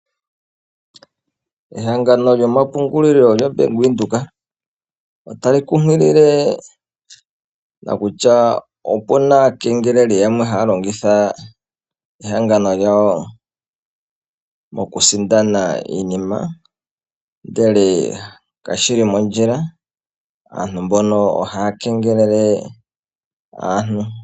Ehangano lyo mapungulilo lyaVenduka otali kunkilile nokutya oku na aakengeleli yamwe haya longitha ehangano lyawo mokusindana iinima ndele kashi li mondjila aantu mbono otaya kengelela aantu.